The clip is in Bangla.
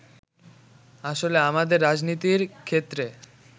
আসলে আমাদের রাজনীতির ক্ষেত্রে